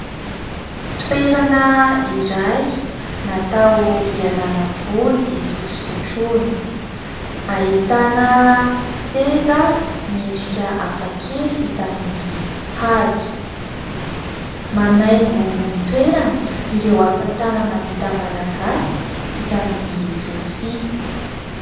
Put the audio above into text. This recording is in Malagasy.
Toerana iray natao hialana voly, isotrosotroana. Ahitana seza miendrika hafa kely vita amin'ny hazo. Manaingo ny toerana ireo asa tanana vita malagasy vita amin'ny rofia.